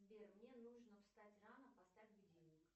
сбер мне нужно встать рано поставь будильник